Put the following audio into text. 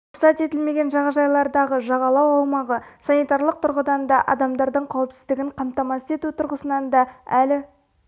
рұқсат етілмеген жағажайлардағы жағалау аумағы санитарлық тұрғыдан да адамдардың қауіпсіздігін қамтамасыз ету тұрғысынан да әлі